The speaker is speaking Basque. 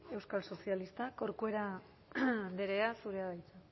euskal sozialistak corcuera andrea zurea da hitza